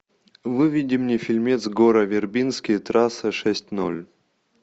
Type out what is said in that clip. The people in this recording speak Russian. выведи мне фильмец гора вербински трасса шесть ноль